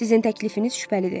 Sizin təklifiniz şübhəlidir.